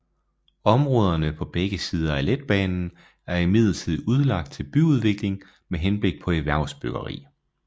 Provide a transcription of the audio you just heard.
Områderne på begge sider af letbanen er imidlertid udlagt til byudvikling med henblik på erhvervsbyggeri